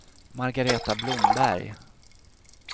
Margareta Blomberg